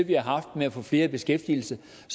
vi har haft med at få flere i beskæftigelse